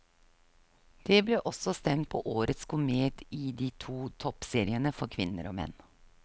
Det ble også stemt på årets komet i de to toppseriene for kvinner og menn.